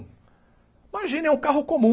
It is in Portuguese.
Imagina, é um carro comum.